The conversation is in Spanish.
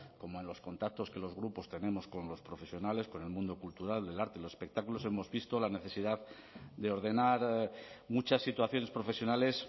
como en los contactos que los grupos tenemos con los profesionales con el mundo cultural del arte y los espectáculos hemos visto la necesidad de ordenar muchas situaciones profesionales